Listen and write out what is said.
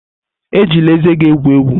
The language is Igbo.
Ejila ezé gị egwu egwu!